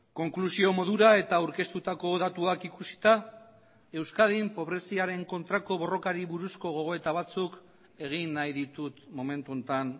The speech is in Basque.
konklusio modura eta aurkeztutako datuak ikusita euskadin pobreziaren kontrako borrokari buruzko gogoeta batzuk egin nahi ditut momentu honetan